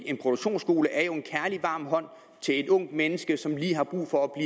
en produktionsskole er jo en kærlig varm hånd til et ungt menneske som lige har brug for at